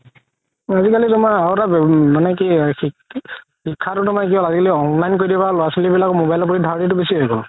আজিকালি তুমাৰ আৰু এটা তুমাৰ মানে কি শিক্ষাতো তুমাৰ online কৰি দি পেলাই ল'ৰা ছোৱালি বিলাকৰ ধাৰনিতো বেচি হয় গ'ল